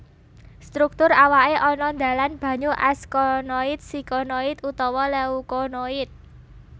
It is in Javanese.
Struktur awake ana dalan banyu askonoid sikonoid utawa leukonoid